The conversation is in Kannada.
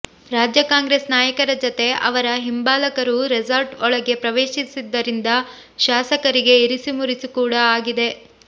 ರಾಜ್ಯ ಕಾಂಗ್ರೆಸ್ ನಾಯಕರ ಜೊತೆ ಅವರ ಹಿಂಬಾಲಕರೂ ರೆಸಾರ್ಟ್ ಒಳಗೆ ಪ್ರವೇಶಿಸಿದ್ದರಿಂದ ಶಾಸಕರಿಗೆ ಇರಿಸುಮುರಿಸು ಕೂಡಾ ಆಗಿದೆ